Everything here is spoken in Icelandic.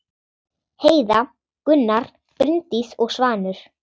Heiða, Gunnar, Bryndís og Svanur.